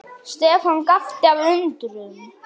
Stefán gapti af undrun.